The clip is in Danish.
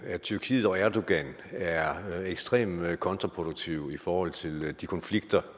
at tyrkiet og erdogan er ekstremt kontraproduktive i forhold til de konflikter